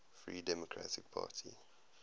free democratic party